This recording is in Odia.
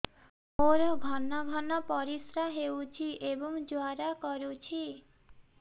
ମୋର ଘନ ଘନ ପରିଶ୍ରା ହେଉଛି ଏବଂ ଜ୍ୱାଳା କରୁଛି